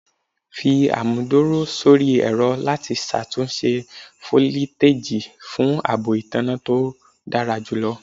Fi amuduro sori ẹrọ lati ṣatunṣe foliteji fun aabo itanna to dara julọ